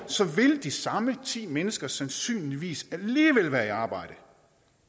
vil de samme ti mennesker sandsynligvis alligevel være i arbejde